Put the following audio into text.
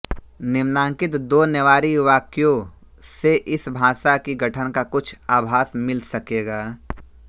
निम्नांकित दो नेवारी वाक्यों से इस भाषा की गठन का कुछ आभास मिल सकेगा